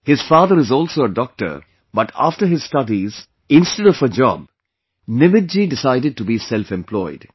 His father is also a doctor, but after his studies, instead of a job, Nimit ji decided to be selfemployed